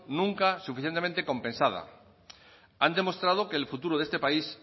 nunca suficientemente compensada han demostrado que el futuro de este país